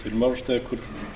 herra forseti ég